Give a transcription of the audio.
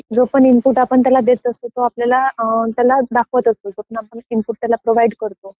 जो पण इनपुट आपण त्याला देत असतो, तो आपल्याला त्याला दाखवत असतो. जो पण आपण इनपुट त्याला प्रोव्हाइड करतो